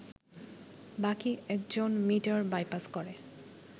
বাকি একজন metre bypass করে